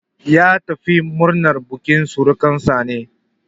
Ya tafi murnar bukin surukansa ne.